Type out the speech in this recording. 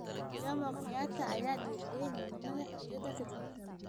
Jomo Kenyatta ayaa dhiiri galiyay midnimada xoriyada ka dib.